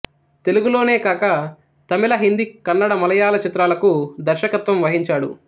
తెలుగులోనే కాక తమిళ హిందీ కన్నడ మలయాళ చిత్రాలకూ దర్శకత్వం వహించాడు